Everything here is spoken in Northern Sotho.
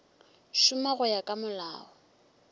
šoma go ya ka molao